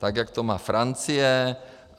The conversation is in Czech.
Tak jak to má Francie.